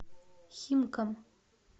химкам